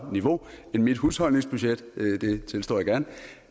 niveau end mit husholdningsbudget det tilstår jeg gerne